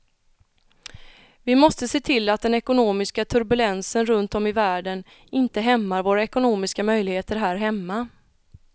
Vi måste se till att den ekonomiska turbulensen runt om i världen inte hämmar våra ekonomiska möjligheter här hemma.